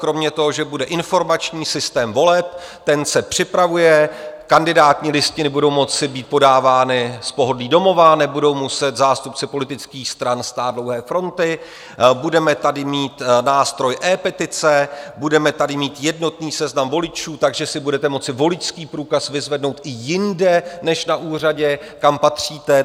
Kromě toho, že bude informační systém voleb, ten se připravuje, kandidátní listiny budou moci být podávány z pohodlí domova, nebudou muset zástupci politických stran stát dlouhé fronty, budeme tady mít nástroj ePetice, budeme tady mít jednotný seznam voličů, takže si budete moci voličský průkaz vyzvednout i jinde než na úřadě, kam patříte.